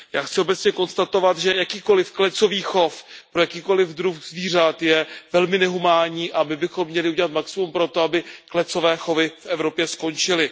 Já chci obecně konstatovat, že jakýkoliv klecový chov pro jakýkoliv druh zvířat je velmi nehumánní a my bychom měli udělat maximum pro to, aby klecové chovy v Evropě skončily.